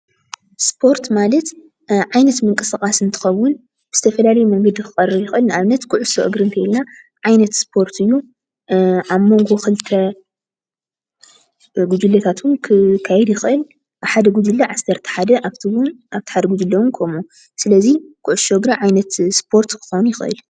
እስፖርት ማለት ዓይነት ምንቅስቃስ እንትከውን ዝተፈላለየ መንገዲ ክቀርብ ይክእል ንኣብነት ኩዕሶ እግር እንተይልና ዓይነት እስፖርት እዩ ኣብ መንጎ ክልተ ጉጅለታት እውን ክካይድ ይክእል ሓደ ጉጀለ ዓሰርተ ሓደ ኣፍተ ሓደ እውን ጉጅለ እውን ከምኡ ስለዚ ኩዕሾ እግሪ ዓይነት እስፖርት ክከውን ይክእል።